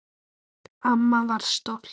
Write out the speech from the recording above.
Amma var stolt.